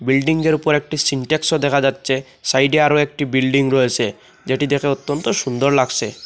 বিল্ডিংয়ের উপরে একটি সিন্টেক্সও দেখা যাচ্ছে সাইডে আরো একটি বিল্ডিং রয়েছে যেটি দেখে অত্যন্ত সুন্দর লাগছে।